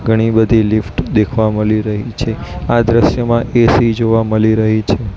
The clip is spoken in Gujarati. ઘણી બધી લિફ્ટ દેખવા મલી રહી છે આ દ્રશ્ય માં એ_સી જોવા મલી રહી છે.